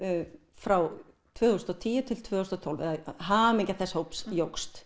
frá tvö þúsund og tíu tvö þúsund og tólf eða hamingja þess hóps jókst